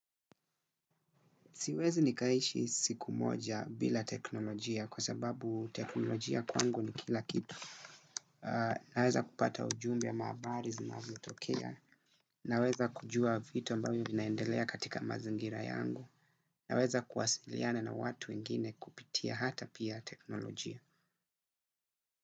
Siwezi nikaishi siku moja bila teknolojia kwa sababu teknolojia kwangu ni kila kitu. Naweza kupata ujumbe ama habari zinazotokea. Naweza kujua vitu ambayo vinaendelea katika mazingira yangu. Naweza kuwasiliana na watu wengine kupitia hata pia teknolojia.